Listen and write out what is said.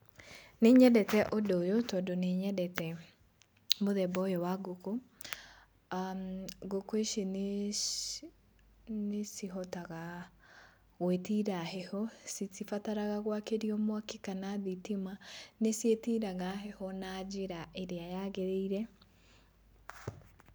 Nĩ nyendete ũndũ ũyũ tondũ nĩ nyendete mũthemba ũyũ wa ngũkũ, ngũkũ ici nĩ cihotaga gwĩtiria heho citibataraga gwakĩrio mwaki kana thitima nĩ ciĩtiragia heho na njĩra ĩrĩa yagĩrĩire.